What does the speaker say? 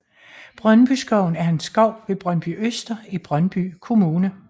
Brøndbyskoven er en skov ved Brøndbyøster i Brøndby Kommune